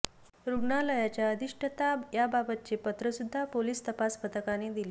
रुग्णालयाच्या अधिष्ठाता याबाबतचे पत्र सुद्धा पोलीस तपास पथकाने दिले